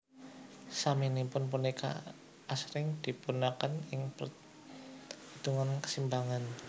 Saminipun punika asring dipunginaaken ing perhitungan kesetimbangan mekanis